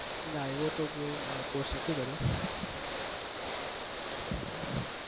ના એવો તો મેં કોઈ course નથી કર્યો